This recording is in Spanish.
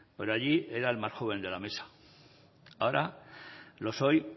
por allí era el más joven de la mesa ahora lo soy